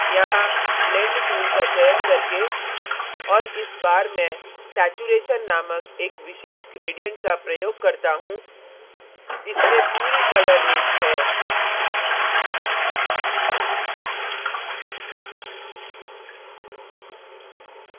यहाँ blend tool का चयन करके और इस बार मैं saturation नामक एक विशेष gradient का प्रयोग करता हूँ इसमें पूरी colour range colour range है